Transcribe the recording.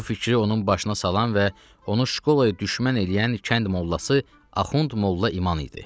Bu fikri onun başına salan və onu şkolaya düşmən eləyən kənd mollası Axund Molla İman idi.